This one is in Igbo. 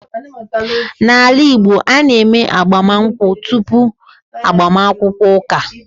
N’ala Igbo, a na-eme agbamụnkwụ tupu agbaakwukwọ ụka.